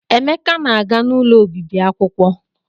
Emeka na-aga n'ụlọ obibi akwụkwọ.